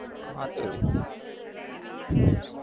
હા તો એ